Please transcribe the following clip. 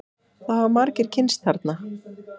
Það hafa margir kynnst þarna.